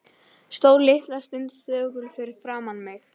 Stóð litla stund þögull fyrir framan mig.